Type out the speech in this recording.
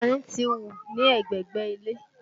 Yánrin ti hù ní ẹ̀gbẹ̀gbẹ́ ilé